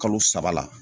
Kalo saba la